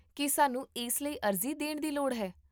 ਕੀ ਸਾਨੂੰ ਇਸ ਲਈ ਅਰਜ਼ੀ ਦੇਣ ਦੀ ਲੋੜ ਹੈ?